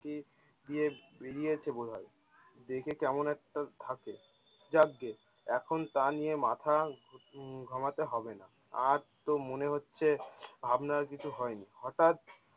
ইয়ে বেরিয়েছে বোধায়। দেখে কেমন একটা ধাপে যাক গিয়ে এখন তা নিয়ে মাথা উম ঘামাতে হবে না আজ তো মনে হচ্ছে ভাবনার কিছু হয়নি হঠাত?